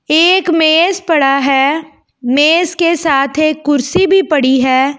एक मेज पड़ा है मेज के साथ एक कुर्सी भी पड़ी है।